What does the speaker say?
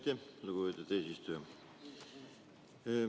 Aitäh, lugupeetud eesistuja!